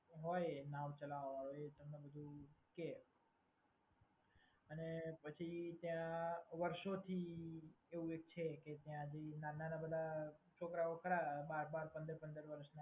હોય નાવ ચલાવવા વાળો એ તમને બધુ કે. અને પછી ત્યાં વર્ષોથી એવું એક છે કે ત્યાંથી નાના-નાના પેલા છોકરાઓ ખરા બાર-બાર પંદર-પંદર વર્ષના